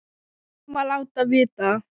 Við verðum að láta vita.